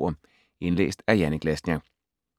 Indlæst af: